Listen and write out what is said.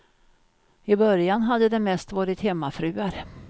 I början hade det mest varit hemmafruar.